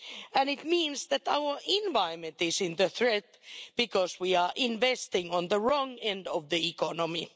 And it means that our environment is under threat because we are investing in the wrong end of the economy.